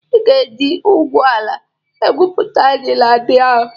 Ị ga-eje ngwu ala gwupụta ji ndị ahụ!